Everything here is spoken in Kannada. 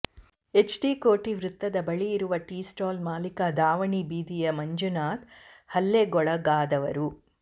ಎಚ್ಡಿ ಕೋಟೆ ವೃತ್ತದ ಬಳಿ ಇರುವ ಟೀಸ್ಟಾಲ್ ಮಾಲೀಕ ದಾವಣಿ ಬೀದಿಯ ಮಂಜುನಾಥ್ ಹಲ್ಲೆಗೊಳಗಾದವರು